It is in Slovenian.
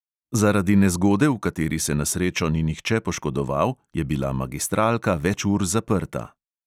Zaradi nezgode, v kateri se na srečo ni nihče poškodoval, je bila magistralka več ur zaprta.